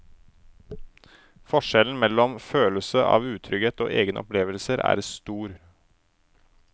Forskjellen mellom følelse av utrygghet og egne opplevelser er stor.